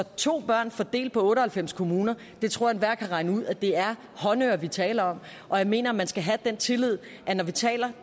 to børn fordelt på otte og halvfems kommuner tror jeg enhver kan regne ud at det er håndøre vi taler om og jeg mener at man skal have den tillid når vi taler